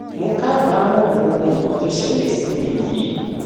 mo kábàámọ gbogbo nǹkan tó ṣẹlẹ sí mi yìí